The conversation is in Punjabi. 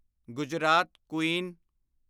ਗੁਜਰਾਤ ਕੁਈਨ